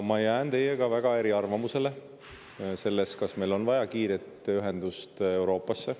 Ma jään eriarvamusele selles, kas meil on vaja kiiret ühendust Euroopaga.